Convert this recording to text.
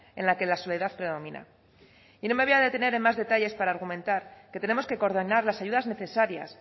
en la que la soledad predomina y no me voy a detener en más detalles para argumentar que tenemos que coordinar las ayudas necesarias